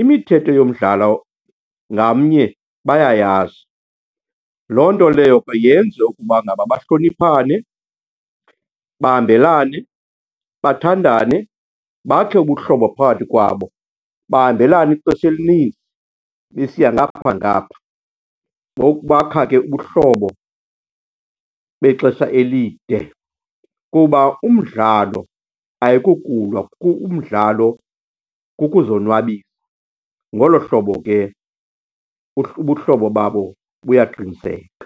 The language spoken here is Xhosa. imithetho yomdlalo ngamnye bayayazi. Loo nto leyo yenze ukuba ngaba bahloniphane, bahambelane, bathandane, bakhe ubuhlobo phakathi kwabo, bahambalane ixesha elininzi besiya ngapha nangapha. Ngoku bakha ke ubuhlobo bexesha elide kuba umdlalo ayikokulwa, umdlalo kukuzonwabisa. Ngolo hlobo ke ubuhlobo babo buyaqiniseka.